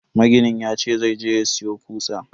Maginin yace zai je ya siyo kutsa.